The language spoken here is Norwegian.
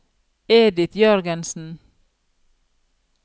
Edith Jørgensen